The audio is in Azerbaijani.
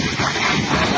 Qoyma gəlsin.